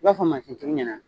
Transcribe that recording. I b'a fɔ tigi ɲɛna